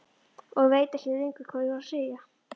Og ég veit ekkert lengur hvað ég á að segja.